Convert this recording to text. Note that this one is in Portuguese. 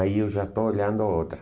Aí eu já estou olhando outra.